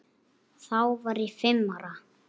Þá var ég fimm ára.